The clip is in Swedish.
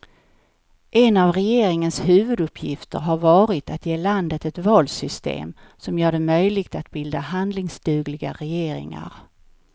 En av regeringens huvuduppgifter har varit att ge landet ett valsystem som gör det möjligt att bilda handlingsdugliga regeringar.